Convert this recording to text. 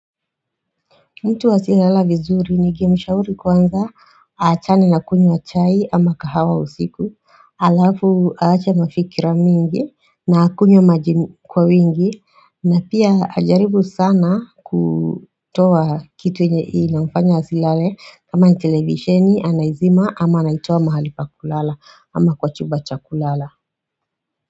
Mtu asielala vizuri ningemshauri kwanza achane na kunywa chai ama kahawa usiku alafu aache mafikra mingi na kunywa maji kwa wingi na pia ajaribu sana kutoa kitu inafanya asilale kama ni televisheni anaizima ama anaitoa mahali pa kulala ama kwa chumba cha kulala.